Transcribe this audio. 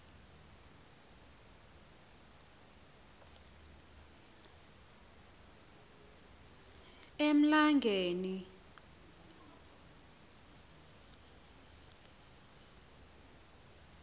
emlangeni